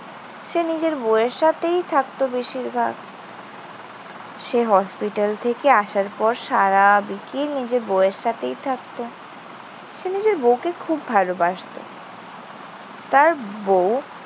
সে নিজের বউয়ের সাথেই থাকত বেশিরভাগ। সে হসপিটাল থেকে আসার পর সারা বিকেল নিজের বউয়ের সাথেই থাকত। সে নিজের বউকে খুব ভালোবাসতো। তার বউ